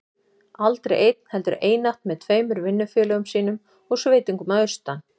Aldrei einn, heldur einatt með tveimur vinnufélögum sínum og sveitungum að austan.